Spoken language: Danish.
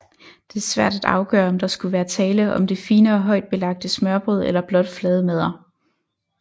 Det er svært at afgøre om der skulle være tale om det finere højtbelagte smørrebrød eller blot flade madder